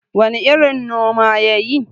wane irin noma ya yi?